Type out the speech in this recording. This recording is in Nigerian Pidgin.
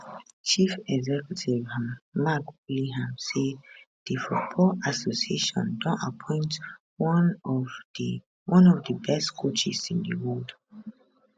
chief executive um mark bullingham say di football association don appoint one of one of di best coaches in di world